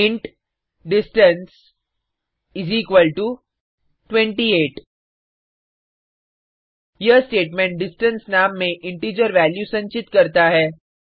int distance equal to 28 यह statement distance नाम में इंटिजर वैल्यू संचित करता है